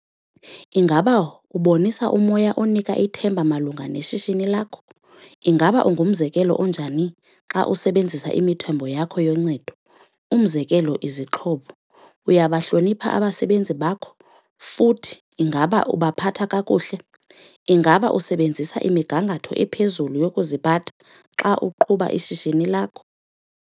Ingaba ubonisa umoya onika ithemba malunga neshishini lakho? Ingaba ungumzekelo onjani xa usebenzisa imithombo yakho yoncedo, umzekelo, izixhobo,? Uyabahlonipha abasebenzi bakho futhi ingaba ubaphatha kakuhle? Ingaba usebenzisa imigangatho ephezulu yokuziphatha xa uqhuba ishishini lakho?